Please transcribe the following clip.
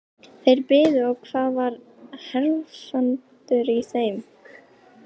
Þeir biðu og það var hefndarhugur í þeim.